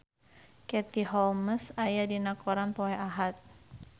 Katie Holmes aya dina koran poe Ahad